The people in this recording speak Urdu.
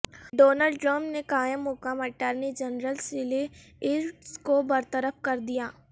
ڈونلڈ ٹرمپ نے قائم مقام اٹارنی جنرل سیلی یئیٹس کو برطرف کر دیا